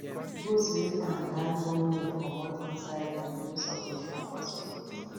goat wey tanda no move comot inside rain mean submission for spirit